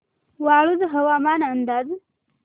वाळूंज हवामान अंदाज